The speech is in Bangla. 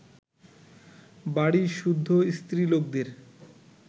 বাড়ীশুদ্ধ স্ত্রীলোকদের